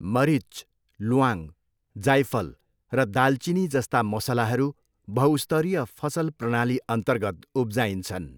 मरिच, ल्वाङ, जाइफल र दालचिनी जस्ता मसलाहरू बहुस्तरीय फसल प्रणालीअन्तर्गत उब्जाइन्छन्।